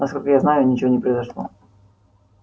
насколько я знаю ничего не произошло